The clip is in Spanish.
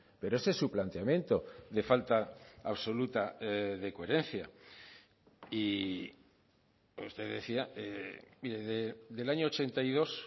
pero ese es su planteamiento de falta absoluta de coherencia y usted decía del año ochenta y dos